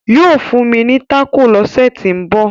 yóò fún mi taco l'ose to nbọ.